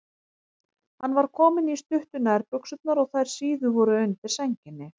Hann var kominn í stuttu nærbuxurnar og þær síðu voru undir sænginni.